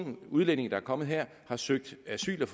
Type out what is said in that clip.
en udlænding der er kommet her og har søgt asyl og